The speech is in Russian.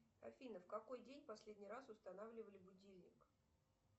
афина в какой день последний раз устанавливали будильник